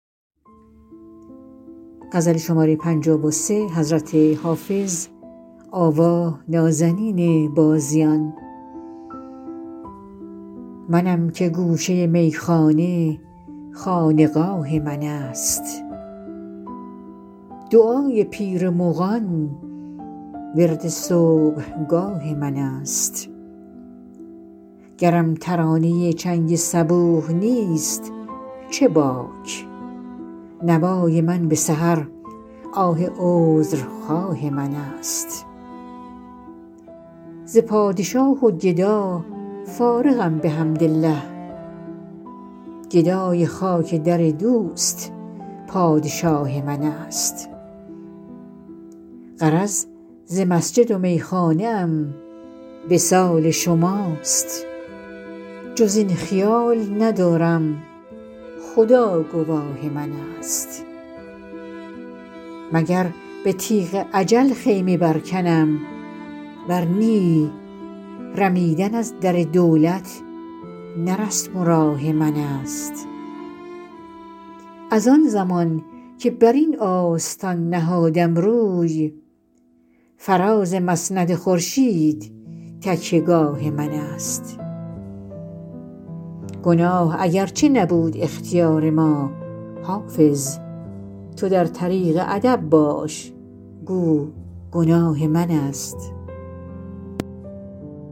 منم که گوشه میخانه خانقاه من است دعای پیر مغان ورد صبحگاه من است گرم ترانه چنگ صبوح نیست چه باک نوای من به سحر آه عذرخواه من است ز پادشاه و گدا فارغم بحمدالله گدای خاک در دوست پادشاه من است غرض ز مسجد و میخانه ام وصال شماست جز این خیال ندارم خدا گواه من است مگر به تیغ اجل خیمه برکنم ور نی رمیدن از در دولت نه رسم و راه من است از آن زمان که بر این آستان نهادم روی فراز مسند خورشید تکیه گاه من است گناه اگرچه نبود اختیار ما حافظ تو در طریق ادب باش گو گناه من است